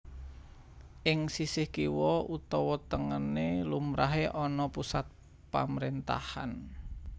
Ing sisih kiwa utawa tengené lumrahé ana pusat pamerintahan